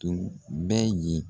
Tun bɛ yen.